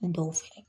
Dɔw fɛ